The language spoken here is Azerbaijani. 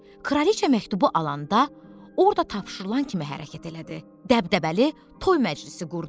Kraliça məktubu alanda orda tapşırılan kimi hərəkət elədi, dəbdəbəli toy məclisi qurdu.